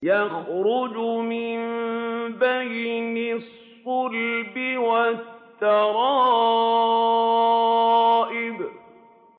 يَخْرُجُ مِن بَيْنِ الصُّلْبِ وَالتَّرَائِبِ